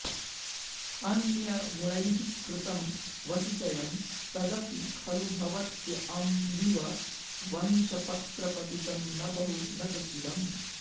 अन्यगुणैः कृतं वसुचयं तदपि खलु भवत्य् अम्ब्विव वंशपत्रपतितं न बहु न च चिरम्